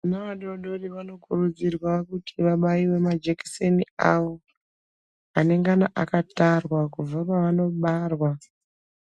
Vana vadodori vanokurudzirwa vabaiwe majekiseni awo anengano akatarwa kubva pavakabarwa